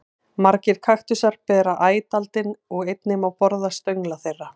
Margir kaktusar bera æt aldin og einnig má borða stöngla þeirra.